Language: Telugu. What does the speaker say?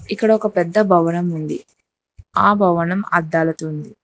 ఇక్కడ ఒక పెద్ద భవనం ఉంది ఆ భవనం అద్దాలతో ఉంది.